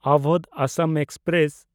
Awadh Assam express